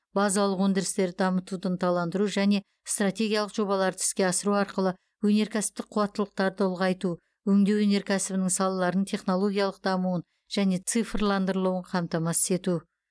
базалық өндірістерді дамытуды ынталандыру және стратегиялық жобаларды іске асыру арқылы өнеркәсіптік қуаттылықтарды ұлғайту өңдеу өнеркәсібінің салаларының технологиялық дамуын және цифрландырылуын қамтамасыз ету